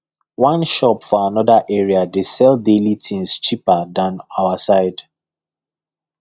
one shop for another area dey sell daily things cheaper than our side